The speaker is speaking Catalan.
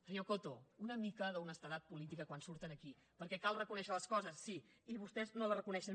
senyor coto una mica d’honestedat política quan surten aquí perquè cal reconèixer les coses sí i vostès no les reconeixen